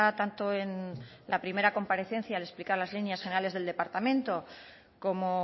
tanto en la primera comparecencia al explicar las líneas generales del departamento como